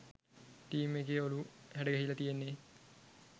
team එකේ ඔලු හැඩගැහිල තියෙන්නෙ